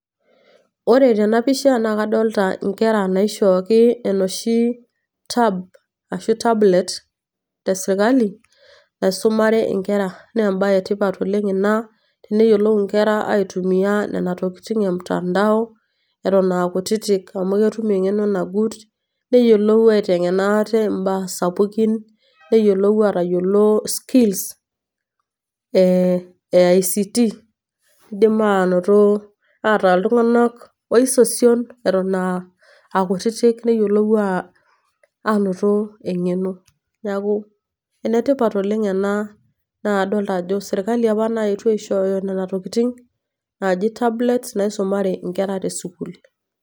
Ore tenapisha, na kadolta inkera naishooki enoshi tab ashu tablet, esirkali, naisumare inkera. Nebae etipat oleng' ina, teneyiolou inkera aitumia nena tokiting emtandao, etok akutitik. Amu ketum eng'eno nagut, neyiolou aiteng'ena ate imbaa sapukin, neyiolou atayiolo skills ,e ICT, nidim anoto ataa iltung'anak oisosion eton akutitik, neyiolou anoto eng'eno. Neeku enetipat oleng' ena. Na adolta ajo serkali apa naetuo aishooyo nena tokiting, naji tablets, naisumare inkera tesukuul.